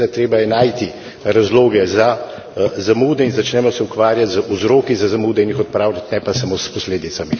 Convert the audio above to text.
In seveda je treba najti razloge za zamude in začnimo se ukvarjati z vzroki za zamude in jih odpravljati, ne pa samo s posledicami.